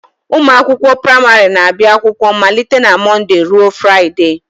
Ụmụ akwụkwọ praịmarị na-abịa akwụkwọ malite na Mọnde ruo Fraịdee